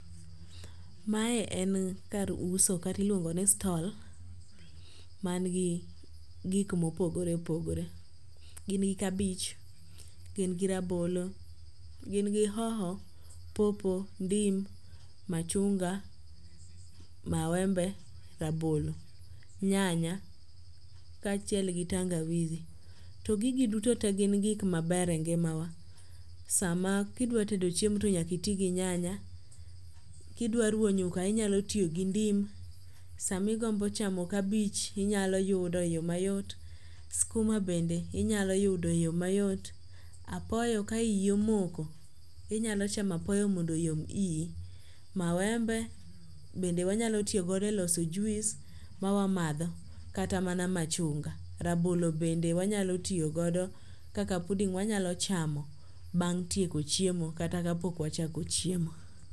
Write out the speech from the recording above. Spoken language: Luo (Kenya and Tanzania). Mae en kar uso kat iluongo ni stall man gi gik mopogore opogore. Gin gi kabich. Gin gi rabolo. Gin gi hoho, popo, ndim, machunga, mawembe, rabolo, nyanya ka achiel gi tangawizi. To gigi duto te gin gik maber e ngima wa. Sama kidwa tedo chiemo to nyaka iti gi nyanya. Kidwa ruwo nyuka inyalo tiyo gi ndim. Sami gombo chamo kabich inyalo yudo e yo mayot. Skuma bende inyalo yudo e yo mayot. Apoyo ka iyi omoko inyalo chamo apoyo mondo oyom iyi. Mawembe bende wanyalo tiyogodo e loso juice ma wamadho kata mana machunga. Rabolo bende wanyalo tiyogodo kaka puding wanyalo chamo bang' tieko chiemo kata ka pok machako chiemo.